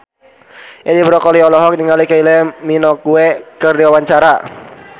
Edi Brokoli olohok ningali Kylie Minogue keur diwawancara